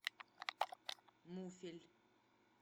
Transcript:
муфель